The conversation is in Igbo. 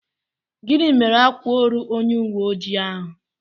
Gịnị mere ákwà órù onye uwé ojii ahụ?